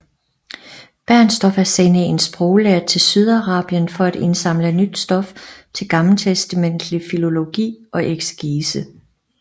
Bernstorff at sende en sproglærd til Sydarabien for at indsamle nyt stof til gammeltestamentlig filologi og eksegese